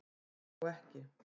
Ég hló ekki